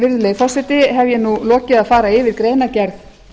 virðulegi forseti hef ég nú lokið að fara yfir greinargerð